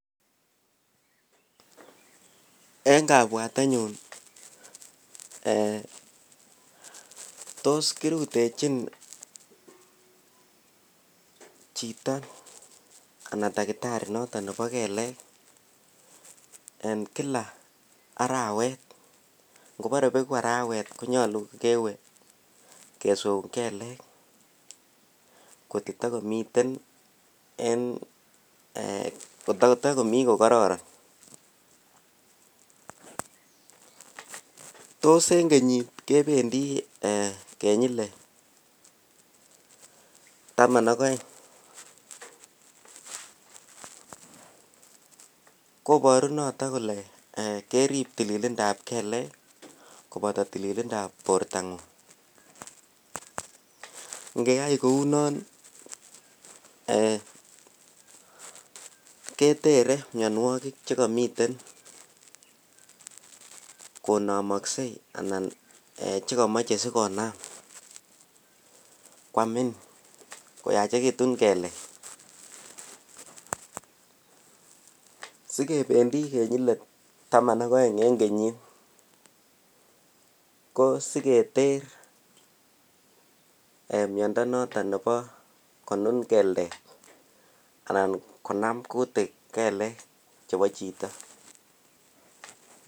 En kabwatenyun tos ki rutechin chito anan takitari noton nebo kelek en kila arawet ngobore beku arawet ko nyolu kokewe kesweun kelek kotko takomiten ko kororon tos en kenyit kebendi kenyile taman ak aeng koboru noton kole kerib tilindap kelek koboto tilindap bortangung ingeyai kounon ketere mianwogik Che kamiten konomoksei anan Che komoche asi konam koamin koyachekitun kelek asi kebendi kenyile taman ak oeng en kenyit ko siketer miando noton nebo konun keldet anan konam kutik kelek chebo chito